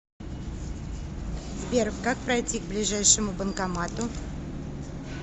сбер как пройти к ближайшему банкомату